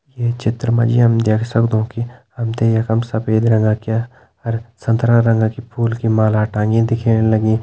ये चित्र मा जी हम देख सकदु की हम त यका मा सफ़ेद रंगाक्या और संतरा रंग की फूल की माला टांगी दिखेण लगीं।